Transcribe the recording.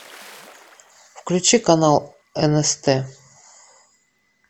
включи канал нст